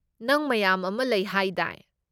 ꯅꯪ ꯃꯌꯥꯝ ꯑꯃ ꯂꯩ ꯍꯥꯏꯗꯥꯏ?